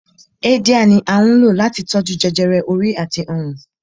Háídíà ni à ń lò láti tó jú jẹjẹrẹ orí àti ọrùn